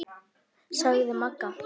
sagði Magga.